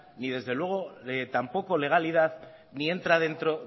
ni desde luego tampoco legalidad ni entra dentro